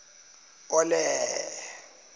ole